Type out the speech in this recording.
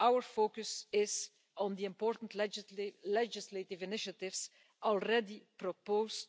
our focus is on the important legislative initiatives already proposed